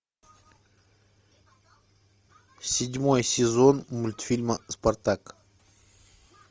седьмой сезон мультфильма спартак